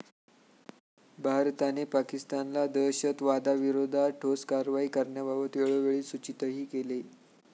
भारताने पाकिस्तानला दहशतवादाविरोधात ठोस कारवाई करण्याबाबत वेळोवेळी सूचितही केले.